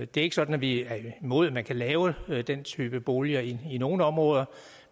det er ikke sådan at vi er imod at man kan lave den type boliger i nogle områder